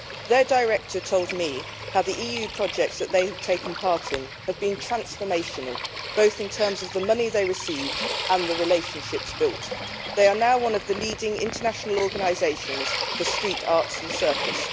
Their director told me how the EU projects that they have taken part in have been transformational, in terms of both the money they received and the relationships built. They are now one of the leading international organisations for street arts and circus.